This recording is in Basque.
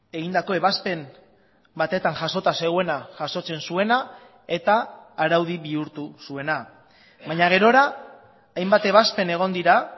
egindako ebazpen batetan jasota zeuena jasotzen zuena eta araudi bihurtu zuena baina gerora hainbat ebazpen egon dira